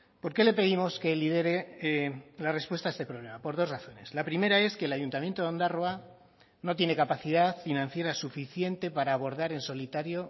por qué le pedimos que lidere la respuesta a este problema por dos razones la primera es que el ayuntamiento de ondarroa no tiene capacidad financiera suficiente para abordar en solitario